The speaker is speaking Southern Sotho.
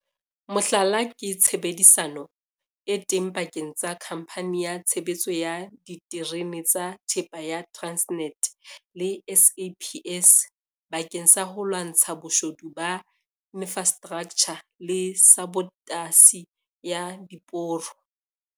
Mohlala ke tshebedisano e teng pakeng tsa Khamphani ya Tshebeletso ya Diterene tsa Thepa ya Transnet le SAPS bakeng sa ho lwantsha boshodu ba infrastraktjha le sabotasi ya diporo.